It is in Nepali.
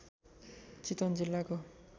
चितवन जिल्लाको